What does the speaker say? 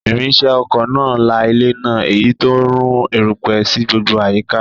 Irinṣẹ́ oko náà la ilẹ̀ náà, èyí tó ń rú erùpẹ̀ sí gbogbo àyíká